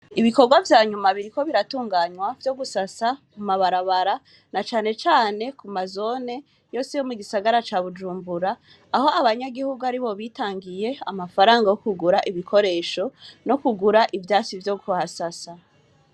Ibikorwa vya nyuma biriko biratunganywa, vyo gusasa ku mabarabara, na cane cane ku mazone yose yo mu gisagara ca Bujumbura, aho abanyagihugu aribo bitangiye amafaranga yo kugura ibikoresho, no kugura ivyatsi vyo kuhasasa.